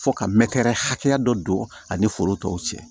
Fo ka mɛrɛ hakɛya dɔ don ani foro tɔw cɛ